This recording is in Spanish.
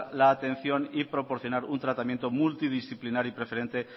la atención y proporcionar un tratamiento multidisciplinario y preferente